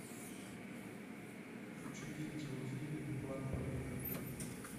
включи видеофильм план побега